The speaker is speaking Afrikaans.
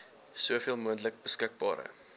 soveel moontlik beskikbare